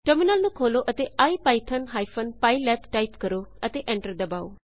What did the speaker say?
terminal ਨੂੰ ਖੋਲੋ ਅਤੇ ਇਪੀਥੌਨ pylab ਟਾਇਪ ਕਰੋ ਅਤੇ ਐਂਟਰ ਦਬਾਓ